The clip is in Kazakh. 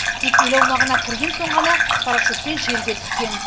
тек ел аумағына кірген соң ғана парашютпен жерге түскен